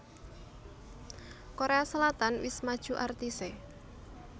Korea Selatan wis maju artise